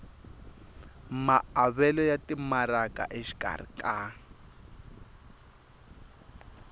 maavelo ya timaraka exikarhi ka